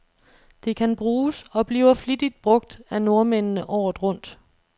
Det kan bruges, og bliver flittigt brug af nordmændene, året rundt.